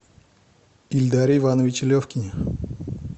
ильдаре ивановиче левкине